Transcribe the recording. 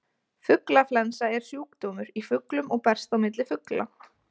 Fuglaflensa er sjúkdómur í fuglum og berst á milli fugla.